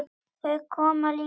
Þau koma líka of oft.